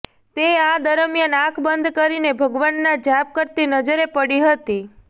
તે આ દરમિયાન આંખ બંધ કરીને ભગવાનના જાપ કરતી નજરે પડી હતી